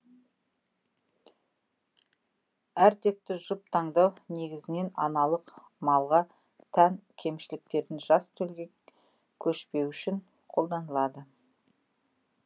әртекті жұп таңдау негізінен аналық малға тән кемшіліктердің жас төлге көшпеуі үшін қолданылады